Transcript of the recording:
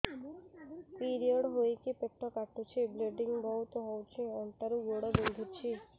period ହୋଇକି ପେଟ କାଟୁଛି ବ୍ଲିଡ଼ିଙ୍ଗ ବହୁତ ହଉଚି ଅଣ୍ଟା ରୁ ଗୋଡ ବିନ୍ଧୁଛି